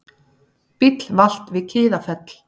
Bíll valt við Kiðafell